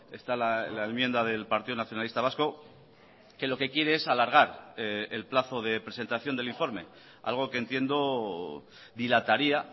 está la enmienda del partido nacionalista vasco que lo que quiere es alargar el plazo de presentación del informe algo que entiendo dilataría